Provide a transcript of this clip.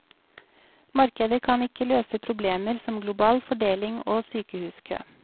Markedet kan ikke løse problemer som global fordeling og sykehuskø.